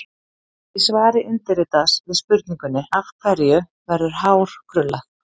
Í svari undirritaðs við spurningunni: Af hverju verður hár krullað?